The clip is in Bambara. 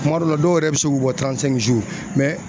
Kuma dɔw la ,dɔw yɛrɛ be se k'u bɔ